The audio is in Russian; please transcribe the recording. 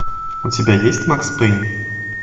у тебя есть макс пейн